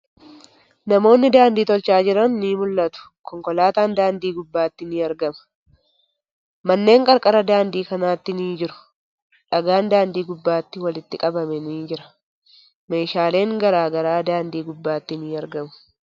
Namoonni daandii tolchaa jiran ni mul'atu. Konkolaatan daandii gubbaatti ni argama. Manneen qarqara daandii kanaatti ni jiru. Dhagaan daandii gubbaatti walitti qabame ni jira. Meeshaalen garagaraa daandii gubbaatti ni argamu.